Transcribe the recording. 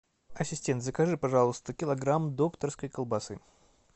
ассистент закажи пожалуйста килограмм докторской колбасы